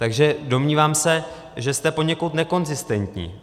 Takže domnívám se, že jste poněkud nekonzistentní.